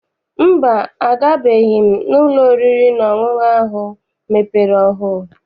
Mba, agabeghị m n'ụlọ oriri na ọṅụṅụ ahụ mepere ọhụụ.